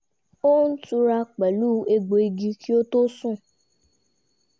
ó ń túra pẹ̀lú ẹgbò igi kí ó tó sùn